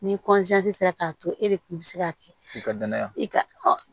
Ni sera k'a to e de kun mi se ka kɛ i ka danaya